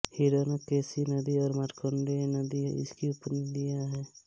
हिरण्यकेशी नदी और मारकण्डेय नदी इसकी उपनदियाँ हैं